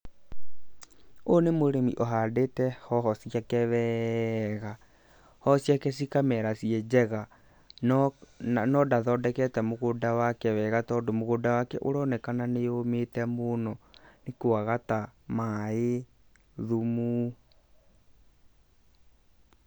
Ũyũ nĩ mũrĩmi ũhandĩte hoho ciake wega, hoho ciake cikamera ciĩ njega, no ndathondekete mũgũnda wake wega, tondũ mũgũnda wake ũronekana nĩ ũmĩte mũno nĩ kũaga ta maaĩ, thumu.